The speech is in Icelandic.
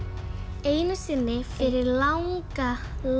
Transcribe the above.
einu sinni fyrir langa